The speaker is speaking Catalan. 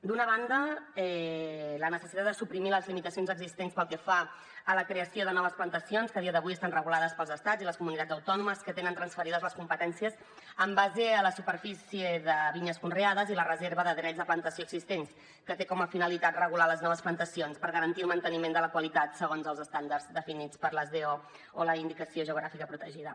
d’una banda la necessitat de suprimir les limitacions existents pel que fa a la creació de noves plantacions que a dia d’avui estan regulades pels estats i les comunitats autònomes que tenen transferides les competències en base a la superfície de vinyes conreades i la reserva de drets de plantació existents que té com a finalitat regular les noves plantacions per garantir el manteniment de la qualitat segons els estàndards definits per les do o la indicació geogràfica protegida